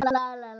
Hann er